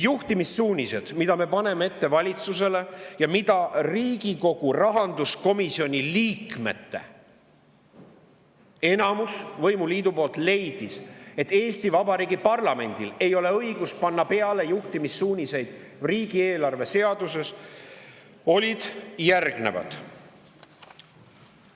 Juhtimissuunised, mida me paneme ette valitsusele ja mille kohta Riigikogu rahanduskomisjoni liikmete enamus, võimuliit leidis, et Eesti Vabariigi parlamendil ei ole õigust panna juhtimissuuniseid riigieelarve seadusesse, olid järgnevad.